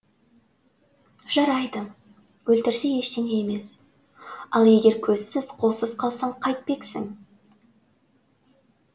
жарайды өлтірсе ештеңе емес ал егер көзсіз қолсыз қалсаң қайтпексің